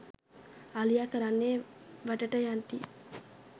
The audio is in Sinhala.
අලියා කරන්නේ වැටට යටින්